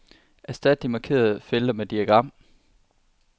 Erstat de markerede felter med diagram.